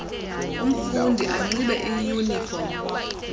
umfundi anxibe iyunifom